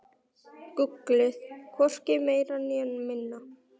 Gullið, hvorki meira né minna.